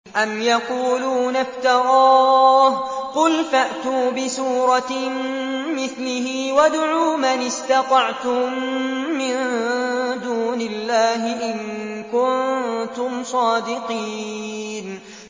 أَمْ يَقُولُونَ افْتَرَاهُ ۖ قُلْ فَأْتُوا بِسُورَةٍ مِّثْلِهِ وَادْعُوا مَنِ اسْتَطَعْتُم مِّن دُونِ اللَّهِ إِن كُنتُمْ صَادِقِينَ